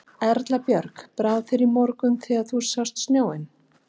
Erla Björg: Brá þér í morgun þegar þú sást snjóinn?